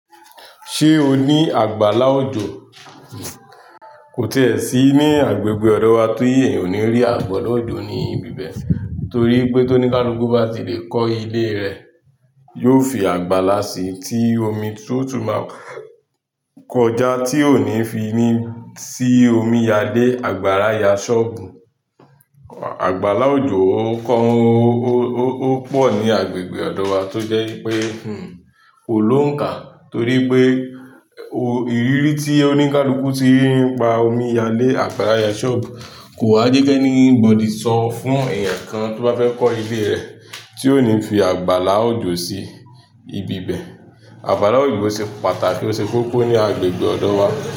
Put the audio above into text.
Ṣé o ní àgbàlá òjò? Kò tíì ẹ sí ní agbègbè ọ̀dọ̀ wa tí èèyàn ò ní rí àgbàlá òjò ní ibi bẹ̀. Nítorí pé tó ní ká l'úkú bá ti lè kọ́ ilé rẹ̀, yóò fi àgbàlá sí i tí omi tó tún máa kọjá tí ò ní fi ni sí omi yá lé àgbàrá yá ṣọ́ọ̀bù. Àgbàlá òjò ó pọ̀ ní agbègbè ọ̀dọ̀ wa tó jẹ́ pé kò lóǹká torí pé ìrírí tí oní kálùkù tí ń pa omi yá lé àgbàrá yá ṣọ́ọ̀bù kò wá jẹ́ kí ẹni bọ̀dí sọ fún èèyàn kan tó bá fẹ́ kọ́ ilé rẹ̀ tí ò ní fi àgbàlá òjò sí ibi bẹ̀. Àgbàlá òjò ṣe pàtàkì ó ṣe kókó ní agbègbè ọ̀dọ̀ wa.